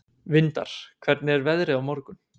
Vindar, hvernig er veðrið á morgun?